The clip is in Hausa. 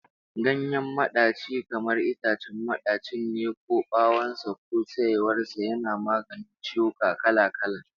Ganyen madaci kamar itacen madacin ne ko bawon sa ko saiwar sa, yana maganin ciwuka kala-kala